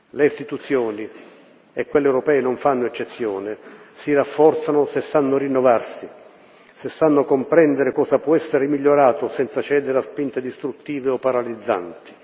Le istituzioni e quelle europee non fanno eccezione si rafforzano se sanno rinnovarsi, se sanno comprendere cosa può essere migliorato senza cedere a spinte distruttive o paralizzanti.